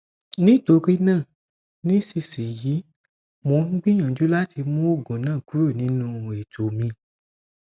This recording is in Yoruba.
nitorina nisisiyi mo n gbiyanju lati mu oogun naa kuro ninu eto mi